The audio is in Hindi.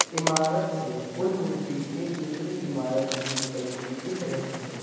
इमारत से पुल रूपी एक दूसरी इमारत भी निकलती दिख रही है।